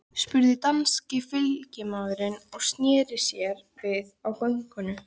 spurði danski fylgdarmaðurinn og sneri sér við á göngunni.